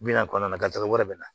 Bi naani kɔnɔna na garijɛgɛ wɛrɛ bɛ na